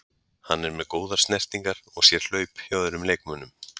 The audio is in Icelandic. Hann er með góðar snertingar og sér hlaup hjá öðrum leikmönnum.